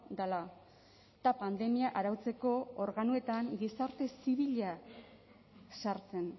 dela eta pandemia arautzeko organoetan gizarte zibila sartzen